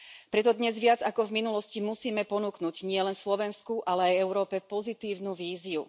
Preto dnes viac ako v minulosti musíme ponúknuť nielen Slovensku, ale aj Európe pozitívnu víziu.